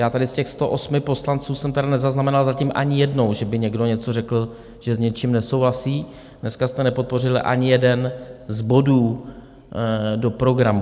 Já tady z těch 108 poslanců jsem tedy nezaznamenal zatím ani jednou, že by někdo něco řekl, že s něčím nesouhlasí, dneska jste nepodpořili ani jeden z bodů do programu.